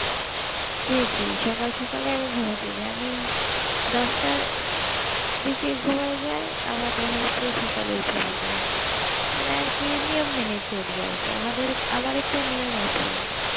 জি জি সকাল সকালে আমি গুমাতে যাই আমি দশটার আহ দিকে ঘুমাই যাই আবার দেখা যাচ্ছে সকালে উঠে পড়ি এবারে এই কি নিয়ম মেনে চলি আর কি আমাদের আমার একটা নিয়ম আছে